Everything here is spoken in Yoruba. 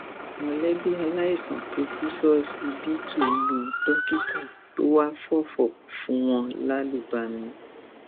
mọlẹbí aláìsàn tó kù ṣọsibítù lu dókítà tó wàá fòfò fún wọn lálùbami